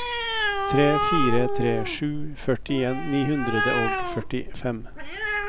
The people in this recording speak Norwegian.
tre fire tre sju førtien ni hundre og førtifem